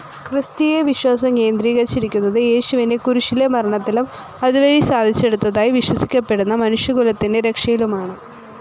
Christian വിശ്വാസം കേന്ദ്രീകരിച്ചിരിക്കുന്നത്‌ യേശുവിന്റെ കുരിശിലെ മരണത്തിലും അതുവഴി സാധിച്ചെടുത്തതായി വിശ്വസിക്കപ്പെടുന്ന മനുഷ്യകുലത്തിന്റെ രക്ഷയിലുമാണ്.